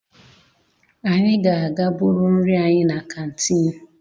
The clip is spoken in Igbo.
Anyị ga-aga buru nri anyị na kantiin.